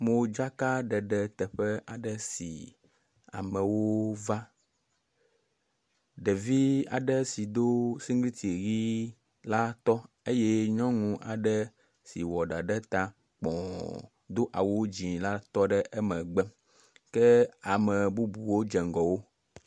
Modzakaɖeɖe teƒe aɖe si amewo va. Ɖevi aɖe si do sigliti yi la tɔ eye nyɔnu aɖe si wɔ ɖa ɖe ta kpɔ do awu dzi la tɔ ɖe emegbe kea me bubuwo dze ŋgɔ wo.